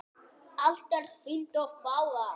Allt er fínt og fágað.